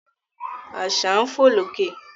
Àṣà ń fò lókè